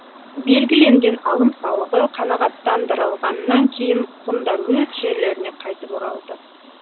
белгіленген алым салығы қанағаттандырылғаннан кейін ғұндар өз жерлеріне қайтып оралды